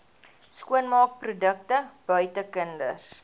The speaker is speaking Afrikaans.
skoonmaakprodukte buite kinders